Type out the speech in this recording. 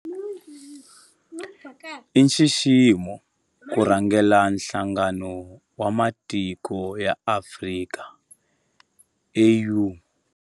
I nxiximo ku rhangela Nhlangano wa Matiko ya Afrika, AU.